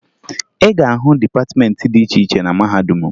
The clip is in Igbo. Ị ga-ahụ dịpatịmeentị dị iche iche na mahadum m